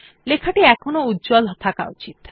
লেখাটি এখনও উজ্জ্বল থাকা উচিত